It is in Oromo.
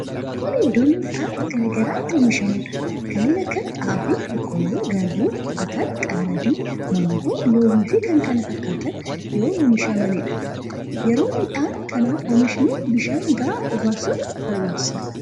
Kun iddoo midhaan gara garaa itti oomishamuudha. Kanneen akka xaafii, boqqolloo, garbuu, ataraa, qamadii, mangoo, loimii fi kan kana fakkataatan yoo oomishamaniidha. Yeroo midhaan kana oomishnu bishaan ga'aa obaasuun barbaachisaadha.